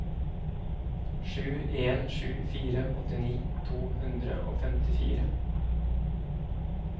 sju en sju fire åttini to hundre og femtifire